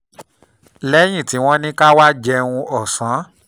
lẹ́yìn tí wọ́n ní ká wá jẹun ọ̀sán